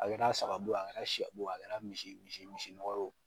A kɛra saga bo ye a kɛra sɛ bo ye a kɛra misi misi misi nɔgɔ ye o.